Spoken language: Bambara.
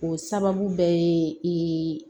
O sababu bɛɛ ye